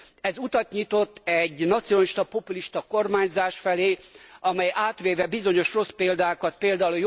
Ez utat nyitott egy nacionalista populista kormányzás felé amely átvéve bizonyos rossz példákat pl.